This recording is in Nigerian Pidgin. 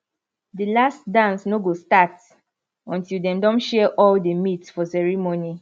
the last dance no go start until dem don share all the meat for ceremony